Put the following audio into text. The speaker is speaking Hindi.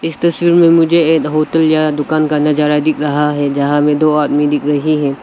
इस तस्वीर में मुझे एक होटल या दुकान का नजारा दिखाई दे रहा है जहां में दो आदमी दिख रहे हैं।